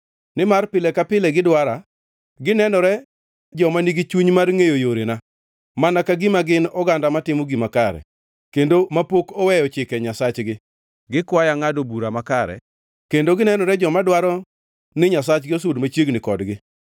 Nimar pile ka pile gidwara, ginenore joma nigi chuny mar ngʼeyo yorena, mana ka gima gin oganda matimo gima kare, kendo mapok oweyo chike Nyasachgi. Gikwaya ngʼado bura makare, kendo ginenore joma dwaro ni Nyasaye osud machiegni kodgi.